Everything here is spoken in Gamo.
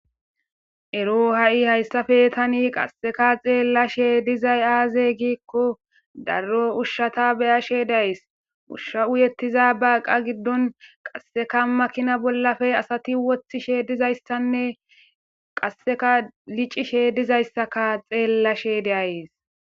Ero ha'i hayssafe tani qasseka xeellashe dizay aaze giikko darro ushshata beyashe days ushsha uyettiza baaqa giddon qasseka makina bollafe asati woththishe dizayssanne qasseka licishe dizayssaka xeellashe deayees.